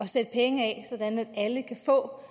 sætte penge af så alle kan få